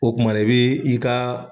O kumana i bɛ i ka.